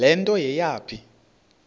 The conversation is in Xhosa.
le nto yayipha